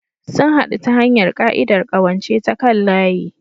Sun haɗu ta hanyar ƙa'idar ƙawance ta kan layi.